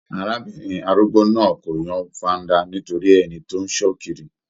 Arábìnrin arúgbó náà kò yan faanda nítorí ẹni tó n sọ kiri.